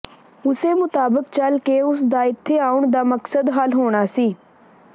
ਉਸੇ ਮੁਤਾਬਕ ਚੱਲ ਕੇ ਉਸ ਦਾ ਇਥੇ ਆਉਣ ਦਾ ਮਕਸਦ ਹੱਲ ਹੋਣਾ ਸੀ